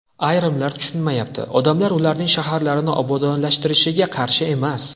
Ayrimlar tushunmayapti: odamlar ularning shaharlari obodonlashtirilishiga qarshi emas!